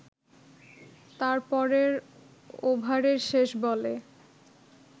তার পরের ওভারের শেষ বলে